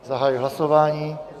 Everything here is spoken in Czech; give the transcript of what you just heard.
Zahajuji hlasování.